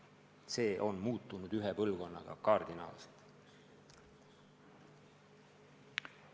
See on ühe põlvkonnaga kardinaalselt muutunud.